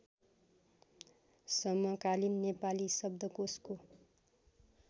समकालीन नेपाली शब्दकोशको